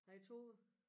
Hej Tove